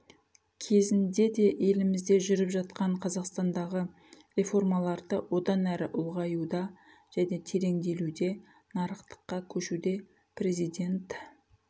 кезінде де елімізде жүріп жатқан қазақстандағы реформаларды одан әрі ұлғаюда және тереңделуде нарықтыққа көшуде президент